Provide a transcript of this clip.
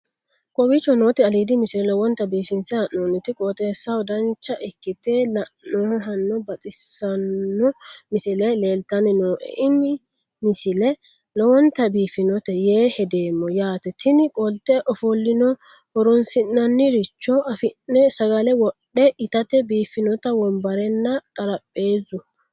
kowicho nooti aliidi misile lowonta biifinse haa'noonniti qooxeessano dancha ikkite la'annohano baxissanno misile leeltanni nooe ini misile lowonta biifffinnote yee hedeemmo yaate tini qolte ofollino horoonsi'nanniricho afi'ne sagale wodhe itatte biiifinote wobarenna xarapheezu